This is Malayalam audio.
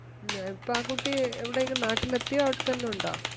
എന്നിട്ടകുട്ടി എവിടെയാണ് നാട്ടിലെത്തിയോ അവിടെ തന്നെയുണ്ടോ